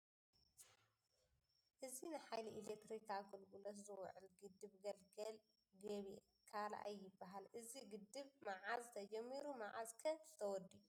እዚ ንሓይሊ ኢሌክትሪክ ኣገልግሎት ዝውዕል ግድብ ገልገል ግቤ ካልኣይ ይበሃል ፡ እዚ ግድብ መዓዝ ተጀሚሩ መዓዝ ' ከ ተወዲኡ ?